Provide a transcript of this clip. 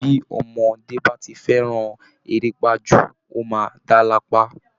Bí ọmọdé bá ti fẹ́ran erépa jù ó máa dá lápá